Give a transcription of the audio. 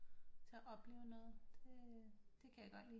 Til at opleve noget det kan jeg godt lide